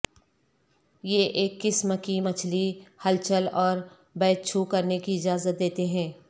یہ ایک قسم کی مچھلی ہلچل اور بیت چھو کرنے کی اجازت دیتے ہیں